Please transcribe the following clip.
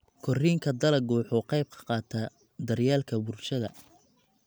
Koriinka dalaggu wuxuu ka qayb qaataa daryeelka bulshada.